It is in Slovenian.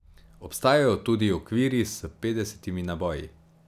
Obstajajo tudi okvirji s petdesetimi naboji ...